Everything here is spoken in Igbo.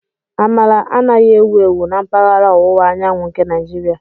Amala anaghị ewu ewu na mpaghara ọwụwa anyanwụ nke Naijiria.